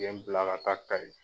U ye bila ka taa KAYI.